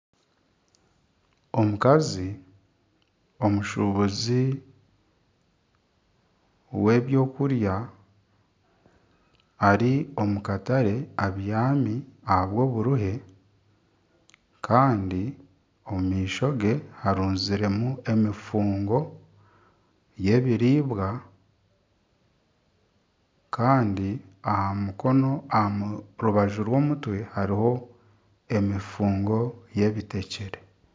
Omukazi omushubuzi we byokurya ari omu katare abyami aha bw'oburuhe Kandi omu maisho ge harunziremu emifungo y'ebiribwa Kandi aha rubaju rw'omuntwe hariho emifungo y'ebitekyere.